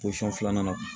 Posɔn filanan na